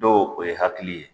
lo o ye hakili ye.